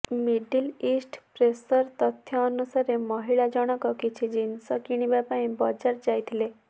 middle east ପ୍ରେସର ତଥ୍ୟ ଅନୁସାରେ ମହିଳା ଜଣକ କିଛି ଜିନିଷ କିଣିବା ପାଇଁ ବଜାର ଯାଇଥିଲେ